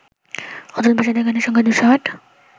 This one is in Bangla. অতুলপ্রসাদের গানের সংখ্যা ২০৮